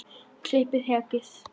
Og klippa hekkið?